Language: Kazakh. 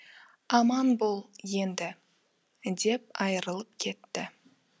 аман бол енді деп айырылып кетті